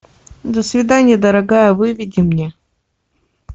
до свиданья дорогая выведи мне